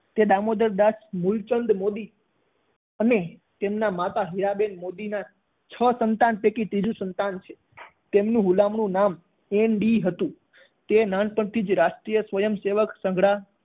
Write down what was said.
તે દામોદરદાસ મૂલચંદ મોદી અને તેમના માતા હીરાબેન મોદીના છ સંતાન પૈકી ત્રીજુ સંતાન છે તેમનું હુલામણું નામ એન ડી હતું. તે નાનપણથી જ રાષ્ટ્રીય સ્વયંસેવક સંઘળા